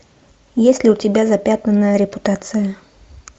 есть ли у тебя запятнанная репутация